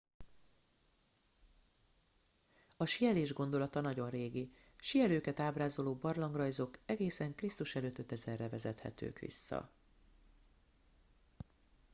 a síelés gondolata nagyon régi - síelőket ábrázoló barlangrajzok egészen kr.e. 5000-re vezethetők vissza!